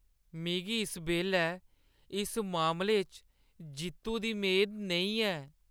मिगी इस बेल्लै इस मामले च जित्तु दी मेद नेईं ऐ।